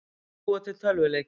Hverjir búa til tölvuleiki?